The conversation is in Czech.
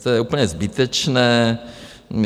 To je úplně zbytečné.